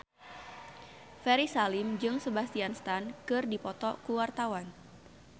Ferry Salim jeung Sebastian Stan keur dipoto ku wartawan